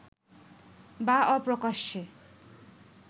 বা অপ্রকাশ্যে